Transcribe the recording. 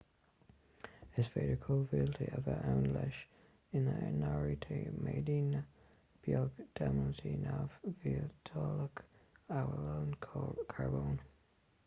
is féidir cóimhiotail a bheith ann leis ina n-áirítear méideanna beag d'eilimintí neamh-mhiotalacha amhail carbón